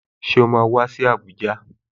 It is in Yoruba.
Ṣé o máa wá sí Abuja?